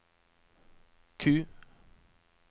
Q